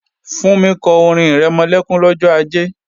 Fúnmi kọ orin-ìrẹmọlẹ́kún lọ́jọ́ Ajé